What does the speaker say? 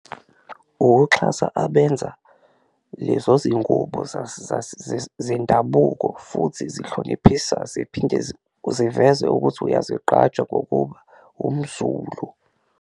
Ukuxhasa abenza lezo zingubo zendabuko futhi zihloniphisa ziphinde ziveze ukuthi uyazigqaja ngokuba umZulu.